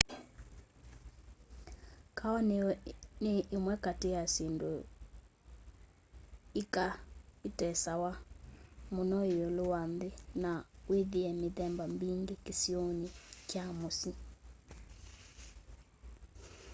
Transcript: kahawa ni imwe kati ya syindũ ika itesewa mũno iũlu wa nthi na withie mithemba mbingi kisioni kya mũsyi